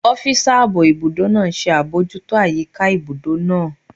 Ọ́físà ààbò ibùdó náà ṣe àbojútó àyíká ibùdó náà